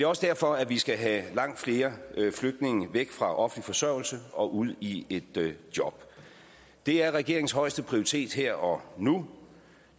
også derfor at vi skal have langt flere flygtninge væk fra offentlig forsørgelse og ud i job det er regeringens højeste prioritet her og nu